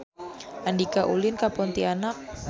Andika ulin ka Pontianak